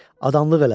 Adamlıq elədim.